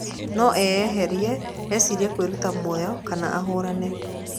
No eyeherie, ecirie kwĩruta mũoyo kana ahũrane.